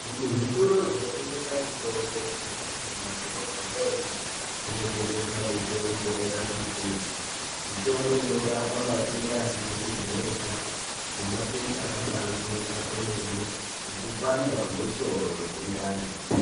Zvimwe zvitoro zvinotengese mutombo kunyanyisa mumadhorobhamwo umwo munotengeswa mutombo yakati kuti mitombo inorapa matenda asizi kujairika pi nematenda akabaijairika kwemene sekupanta kwemusoro nemundani.